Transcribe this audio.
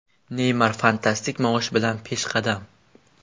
Neymar fantastik maosh bilan peshqadam.